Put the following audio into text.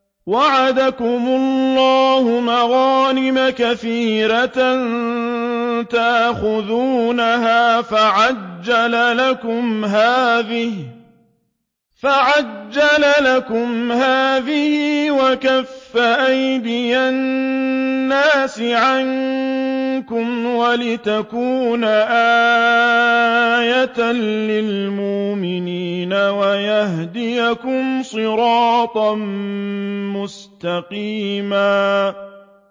وَعَدَكُمُ اللَّهُ مَغَانِمَ كَثِيرَةً تَأْخُذُونَهَا فَعَجَّلَ لَكُمْ هَٰذِهِ وَكَفَّ أَيْدِيَ النَّاسِ عَنكُمْ وَلِتَكُونَ آيَةً لِّلْمُؤْمِنِينَ وَيَهْدِيَكُمْ صِرَاطًا مُّسْتَقِيمًا